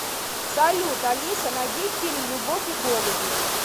салют алиса найди фильм любовь и голуби